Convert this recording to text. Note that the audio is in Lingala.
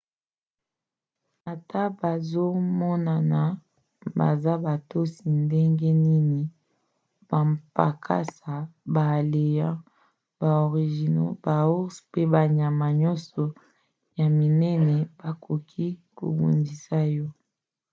ata bazomonana baza botosi ndenge nini bampakasa baélans baorignaux baours mpe banyama nyonso ya minene bakoki kobundisa yo